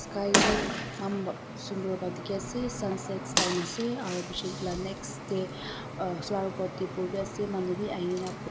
sky beh eman ba sundoor bara teki ase sunsets time ase aro eto laga bechi next teh uhh flower pot teh phool be ase manu beh ahikina bui.